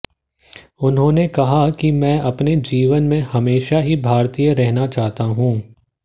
उन्होंने कहा कि मैं अपने जीवन में हमेशा ही भारतीय रहना चाहता हूं